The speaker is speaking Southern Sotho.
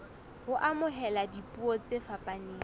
ho amohela dipuo tse fapaneng